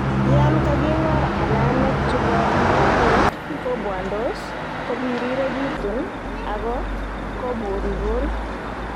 Yan kaking'war, alamek chubo magatet kobwondos, kobiriregitun ako kobulbul